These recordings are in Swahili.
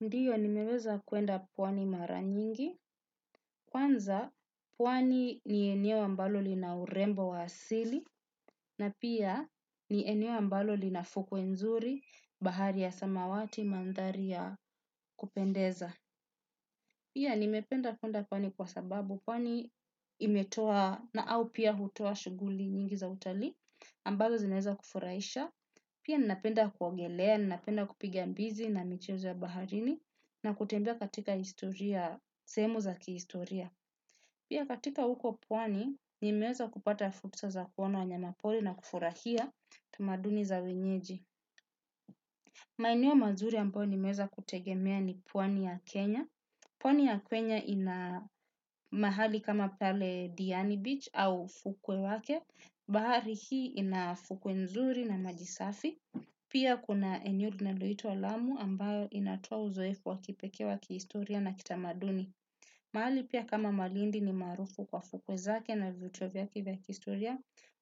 Ndiyo nimeweza kuenda pwani mara nyingi, kwanza pwani ni eneo ambalo lina urembo wa asili, na pia ni eneo ambalo linafuku nzuri, bahari ya samawati, mandhari ya kupendeza. Pia nimependa kwenda pwani kwa sababu pwani imetoa na au pia hutua shuguli nyingi za utali ambazo zineza kufurahisha. Pia ninapenda kuwogelea, ni napenda kupiga mbizi na michezo ya baharini na kutembea katika historia, semu za kihistoria. Pia katika huko kwani, nimeweza kupata fursa za kwona wanyamapoli na kufurahia tumaduni za wenyeji. Maenewo mazuri ambayo nimeweza kutegemea ni pwani ya Kenya. Pwani ya kwenya ina mahali kama pale Diani Beach au fukwe wake, bahari hii ina fukwe nzuri na majisafi. Pia kuna eneo linaloitwa Lamu ambayo inatoa uzoefu wa kipekee wa kihistoria na kitamaduni. Mahali pia kama Malindi ni maarufu kwa fukwe zake na vivutio vya kihistoria,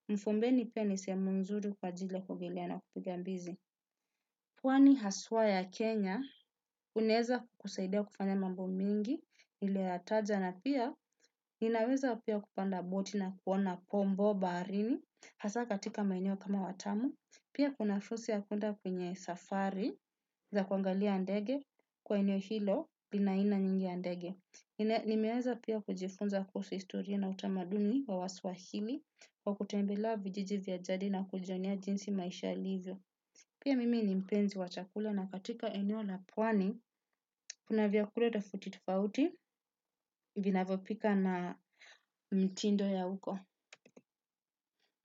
mfumbeni pia ni sehemu nzuri kwa ajili ya kuogelea na kupiga mbizi. Pwani haswa ya Kenya, inaweza kukusaidia kufanya mambo mengi, niliyoyataja na pia, ninaweza pia kupanda boti na kuona pombo baharini, hasa katika maeneo kama Watamu, pia kuna fursa ya kwenda kwenye safari, za kuangalia ndege, kwa eneo hilo, lina aina nyingi ya ndege. Nimeweza pia kujifunza kuhusu historia na utamaduni wa waswahili kwa kutembea vijiji vya jadi na kujionea jinsi maisha ilivyo. Pia mimi ni mpenzi wa chakula na katika eneo la pwani kuna vyakula tofauti tofauti vinavyopikwa na mtindo ya huko.